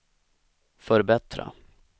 förbättra